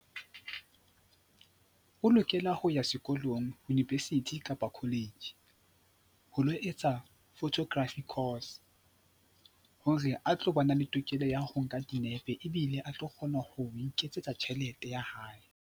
O lokela ho ya sekolong, University kapa College ho lo etsa photography course hore a tlo ba na le tokelo ya ho nka dinepe ebile a tlo kgona ho iketsetsa tjhelete ya hae.